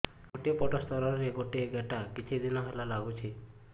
ଗୋଟେ ପଟ ସ୍ତନ ରେ ଗୋଟେ ଗେଟା କିଛି ଦିନ ହେଲା ଲାଗୁଛି